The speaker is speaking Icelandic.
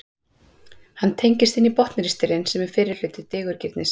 hann tengist inn í botnristilinn sem er fyrsti hluti digurgirnis